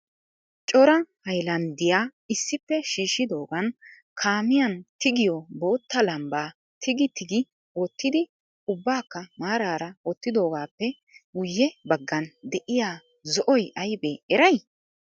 coraa hayllanddiyaa issippe shiishshidoogan kaamiyan tiggiyo bootta lambba tigi tigi wottidi ubbakka maarara wottidoogappe guyye baggam de'iya zo'oy aybbe eray?